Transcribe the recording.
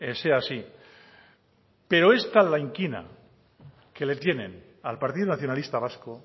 sea así pero es tal la inquina que le tienen al partido nacionalista vasco